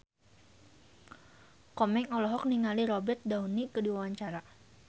Komeng olohok ningali Robert Downey keur diwawancara